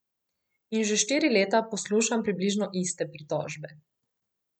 In že štiri leta poslušam približno iste pritožbe.